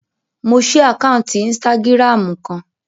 Mo ṣí àkáǹtì ínstágíráàmù kan